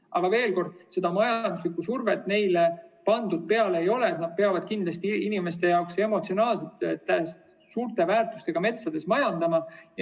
Aga veel kord: majanduslikku survet neile peale pandud ei ole, et nad peaksid inimeste jaoks emotsionaalselt suure väärtusega metsades kindlasti majandama.